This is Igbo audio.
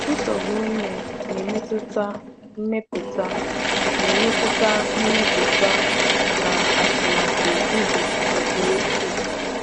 Nsogbu ime na-emetụta mmepụta na-emetụta mmepụta na atụmatụ ubi nke ukwuu.